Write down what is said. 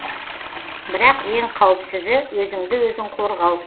бірақ ең қауіпсізі өзіңді өзің қорғау